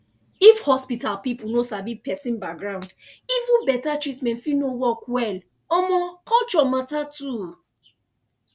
if hospital people no sabi person background even better treatment fit no work well um culture matter too